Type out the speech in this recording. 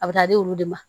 A bɛ taa di olu de ma